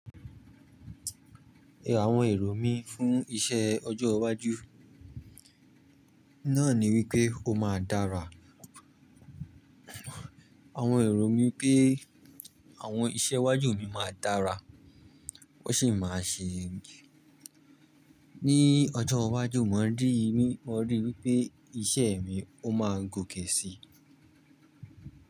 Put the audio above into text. Àwọn èrò mí fún iṣẹ́ ọjọ́ iwájú náà ni wípé ó máa dára. Àwọn èrò mi pé àwọn iṣẹ́ iwájú mi máa dára, ó sì máa ṣe ni ọjọ́ iwájú. Mo rí i wípé iṣẹ́ mi ó máa gòkè si.